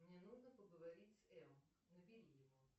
мне нужно поговорить с эм набери его